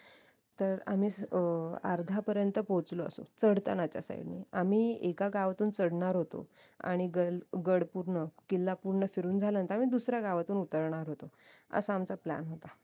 तर आम्ही अह अर्धा पर्यंत पोहचलो असू चडतानाच्या side नी आम्ही एका गावातून चढणार होतो आणि गड पूर्ण किल्ला पूर्ण फिरून आम्ही दुसऱ्या गावातून उतरणार होतो असा आमचा plan होता